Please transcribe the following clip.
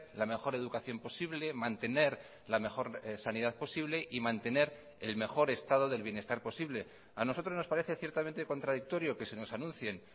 la mejor educación posible mantener la mejor sanidad posible y mantener el mejor estado del bienestar posible a nosotros nos parece ciertamente contradictorio que se nos anuncien